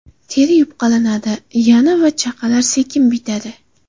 Teri yupqalashadi, yara va chaqalar sekin bitadi.